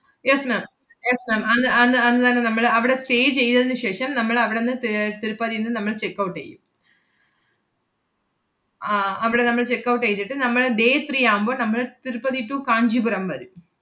yes ma'am yes ma'am അന്ന് അന്ന് അന്നുതന്നെ നമ്മള് അവടെ stay ചെയ്തതിനു ശേഷം, നമ്മളവടന്ന് ത്~ ഏർ തിരുപ്പതീന്ന് നമ്മള് checkout എയ്യും. ആഹ് അവടെ നമ്മൾ checkout എയ്തിട്ട് നമ്മള് day three ആവുമ്പോ നമ്മള് തിരുപ്പതി to കാഞ്ചീപുരം വരും.